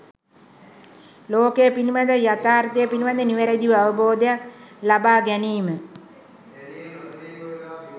ලෝකය පිළිබඳව, යථාර්ථය පිළිබඳව නිවැරැදි අවබෝධයක් ලබා ගැනීම